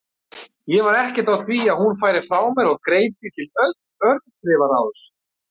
Ég var ekkert á því að hún færi frá mér og greip því til örþrifaráðs.